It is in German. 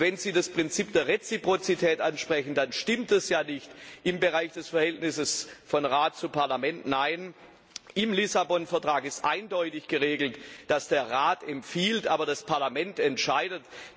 Und wenn Sie das Prinzip der Reziprozität ansprechen, dann stimmt das ja nicht im Bereich des Verhältnisses von Rat und Parlament, nein, im Lissabon Vertrag ist eindeutig geregelt, dass der Rat empfiehlt, aber das Parlament entscheidet.